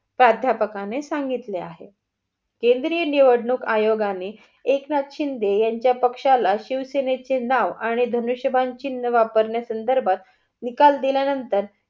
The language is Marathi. प्राध्यापकाने सांगितले आहे. केंद्रीय निवडणूक आयोगाने एकनाथ शिंदे यांच्या पक्ष्याला शिवसेने चे नाव आणि धनुष्यबाण चिन्ह वापरण्या संदर्भात निकाल दिल्यानंतर